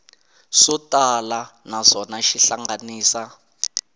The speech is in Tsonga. swo tala naswona xi hlanganisa